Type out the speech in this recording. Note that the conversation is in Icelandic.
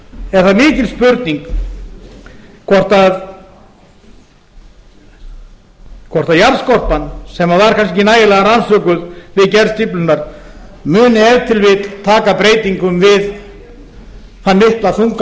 er það mikil spurning hvort jarðskorpan sem var kannski ekki nægilega rannsökuð við gerð stíflunnar muni ef til vill taka breytingum við þann mikla þunga